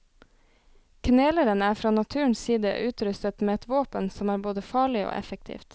Kneleren er fra naturens side utrustet med et våpen som er både farlig og effektivt.